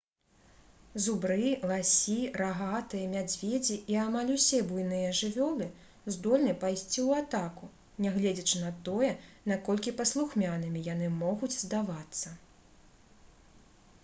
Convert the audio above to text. зубры ласі рагатыя мядзведзі і амаль усе буйныя жывёлы здольны пайсці ў атаку нягледзячы на тое наколькі паслухмянымі яны могуць здавацца